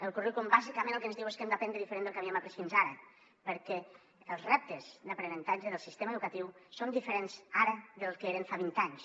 el currículum bàsicament el que ens diu és que hem d’aprendre diferent del que havíem après fins ara perquè els reptes d’aprenentatge del sistema educatiu són diferents ara del que eren fa vint anys